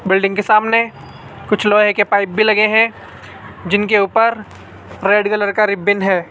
Building के सामने कुछ लोहे के पाइप भी लगे हैं जिनके ऊपर रेड कलर का रिबन है।